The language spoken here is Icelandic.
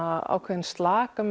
ákveðinn slaka